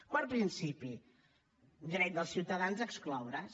quart principi dret dels ciutadans a excloure’s